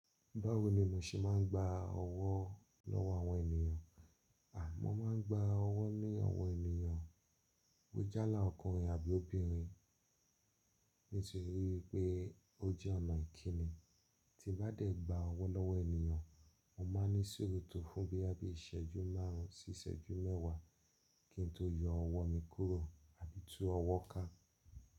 Báwo ni mo ṣe máa ń gba ọwọ́ lọ́wọ́ àwọn ènìyàn? Mọ́ máa ń gba ọwọ́ ní àwọn ènìyàn bo jálá ọkùnrin àbí obìnrin nítorí pé ó jẹ́ ọ̀nà ìkíni. Tí bá dẹ̀ gba ọwọ́ lọ́wọ́ ènìyàn, mo máa ní suru tó fún bí i boya bi ìṣẹ́jú márùn-ún sí ìṣẹ́jú mẹ́wàá kí n tó yọ ọwọ́ mi kúrò àbí tú ọwọ́ ká.